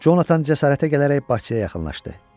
Conatan cəsarətə gələrək baxçaya yaxınlaşdı.